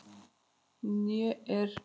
Né er